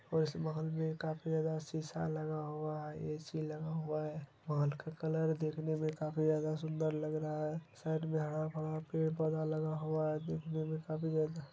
और इस महल में काफ़ी ज्यादा शीशा लगा हुआ है एसी लगा हुआ है महल का कलर देखने में काफ़ी ज्यादा सुंदर लग रहा है साइड में हराभरा पड़े पौधा लगा हुआ है देखने में काफ़ी ज्यादा--